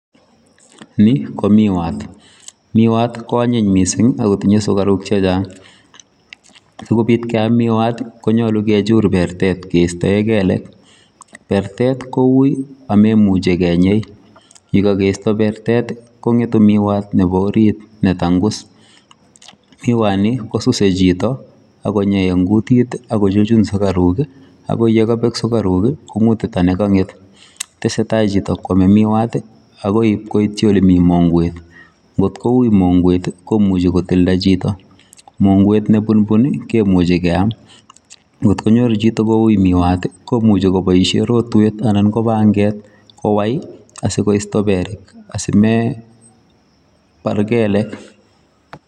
nii ko miwaat, miwaat kywaanyiny mising' agotinye sugaruuk chechang' sigobiit kyaam miwaat konyolu kichuur bertet kestoee keleek, bertet kouu omemuche kenyei, ye kageisto bertet kong'etu miwaat nebo orrit netangus miwaat nii kosuse chito ago nyei en kutik iih agochuchun sugaruuk iih ago yegobeek sugaruuk iih kong'uuta negong'et, tesetai chito kwomee miwaat iih agoi itwyii olemii mongweet kot kouii mongweet iih komuche kotilda chito mongweet nebulbun kemuche keyaam, kot konyoor chito kouii miwaat iih komuche koboisyeen rotweet anan ko bangeet kowai asigoisto beerr asimee baar keleek